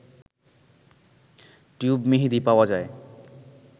tube মেহেদি পাওয়া যায়